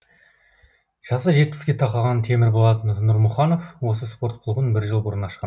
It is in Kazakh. жасы жетпіске тақаған темірболат нұрмұханов осы спорт клубын жыл бұрын ашқан